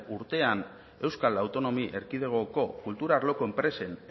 urtean euskal autonomia erkidegoko kultura arloko enpresen